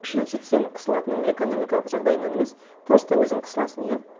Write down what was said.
значит сен қысылатының экономикалық жағдайынан емес просто өзің қысыласың иә